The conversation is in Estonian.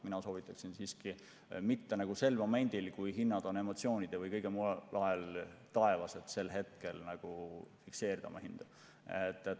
Mina soovitaksin siiski mitte sel momendil, kui hinnad on emotsioonide või kõige muu tõttu taevas, hinda fikseerida.